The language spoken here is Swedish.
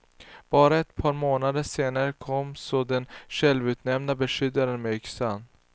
Bara ett par månader senare kom så den självutnämnda beskyddaren med yxan.